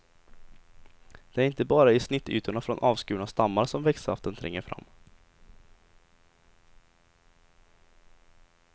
Det är inte bara i snittytorna från avskurna stammar som växtsaften tränger fram.